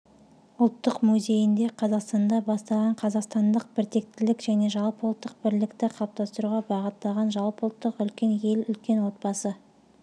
ұлттық музейінде қазақстанда басталған қазақстандық біртектілік және жалпыұлттық бірлікті қалыптастыруға бағытталған жалпыұлттық үлкен ел үлкен отбасы